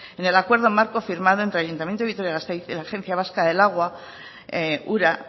en el acuerdo marco firmado entre el ayuntamiento de vitoria gasteiz y la agencia vasca del agua ura